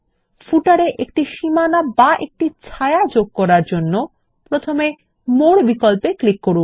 পাদলেখ তে এ একটি সীমানা বা একটি ছায়া যোগ করার জন্য প্রথমে মোর বিকল্পে যান